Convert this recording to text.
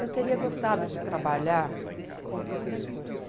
Eu teria gostado de trabalhar com professores.